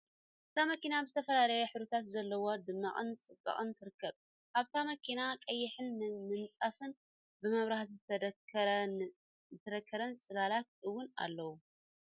እታ መኪና ብ ዝተፈላለዩ ሕብርታት ዘሎዎም ደሚቃን ፀቢቃን ትርከብ ። ኣብታ መኪና ቀይሕ ምንፃፍን ብ መብራህቲ ዝተደኮረ ን ፅላላት እውን ኣለዉ ።